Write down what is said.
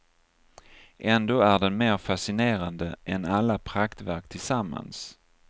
Ändå är den mer fascinerande än alla praktverk tillsammans.